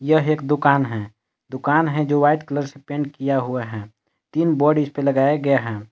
यह एक दुकान है दुकान है जो व्हाइट कलर से पेंट किया हुआ है तीन बोर्ड इसपे लगाया गया है।